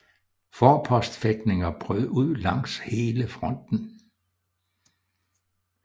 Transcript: Forpostfægtninger brød ud langs hele fronten